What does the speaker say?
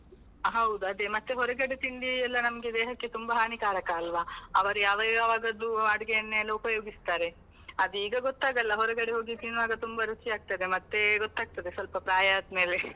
ಹೌದು ಅದೇ ಮತ್ತೆ ಹೊರಗಡೆ ತಿಂಡಿ ಎಲ್ಲ ನಮ್ಗೆ ದೇಹಕ್ಕೆ ತುಂಬ ಹಾನಿಕಾರಕ ಅಲ್ವಾ, ಅವರು ಯಾವ ಯಾವಾಗದ್ದು ಅಡುಗೆ ಎಣ್ಣೆ ಎಲ್ಲ ಉಪಯೋಗಿಸ್ತಾರೆ, ಅದು ಈಗ ಗೊತ್ತಾಗಲ್ಲ ಹೊರಗಡೆ ಹೋಗಿ ತಿನ್ನುವಾಗ ತುಂಬ ರುಚಿ ಆಗ್ತದೆ ಮತ್ತೆ ಗೊತ್ತಾಗ್ತದೆ ಸ್ವಲ್ಪ ಪ್ರಾಯ ಆದ್ಮೇಲೆ .